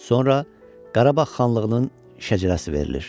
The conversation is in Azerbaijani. Sonra Qarabağ xanlığının şəcərəsi verilir.